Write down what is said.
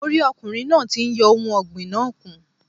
Mo rí ọkùnrin náà ti n yọ ohun ọ̀gbìn náà kùn